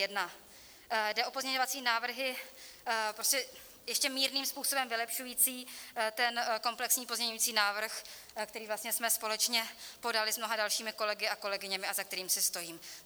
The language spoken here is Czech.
Jde o pozměňovací návrhy prostě ještě mírným způsobem vylepšující ten komplexní pozměňovací návrh, který vlastně jsme společně podali s mnoha dalšími kolegy a kolegyněmi a za kterým si stojím.